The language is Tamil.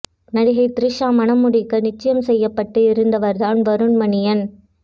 நடிகை த்ரிஷா மணம்முடிக்க நிச்சயம் செய்யப்பட்டு இருந்தவர்தான் வருண் மணியன்